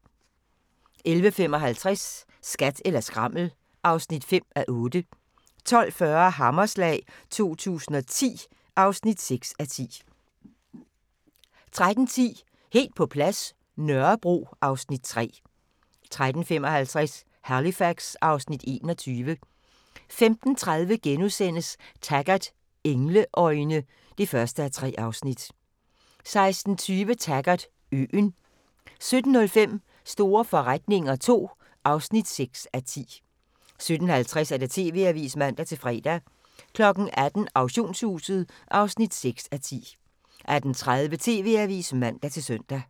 11:55: Skat eller skrammel (5:8) 12:40: Hammerslag 2010 (6:10) 13:10: Helt på plads – Nørrebro (Afs. 3) 13:55: Halifax (Afs. 21) 15:30: Taggart: Engleøjne (1:3)* 16:20: Taggart: Øen 17:05: Store forretninger II (6:10) 17:50: TV-avisen (man-fre) 18:00: Auktionshuset (6:10) 18:30: TV-avisen (man-søn)